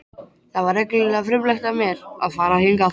Það var reglulega frumlegt af mér að fara hingað.